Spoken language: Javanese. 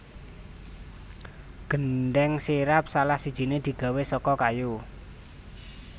Gendhèng sirap salah sijine digawé saka kayu